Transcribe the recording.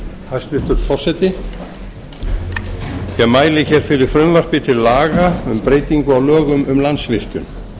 hæstvirtur forseti ég mæli hér fyrir frumvarpi til laga um breytingu á lögum um landsvirkjun